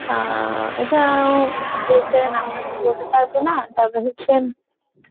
অ্যাঁ এটা director এর নামটা তো বলতে পারবো না, তবে হচ্ছে